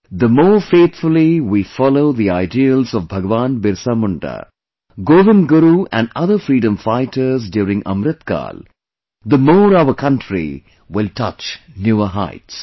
The more faithfully we follow the ideals of Bhagwan Birsa Munda, Govind Guru and other freedom fighters during Amrit Kaal, the more our country will touch newer heights